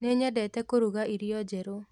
Nĩnyendete kũruga irio njerũ